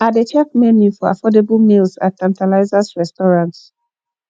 i dey check menu for affordable meals at tantalizers restaurant